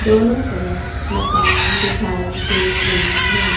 दोनों तरफ मकान दिखाई दे रही है।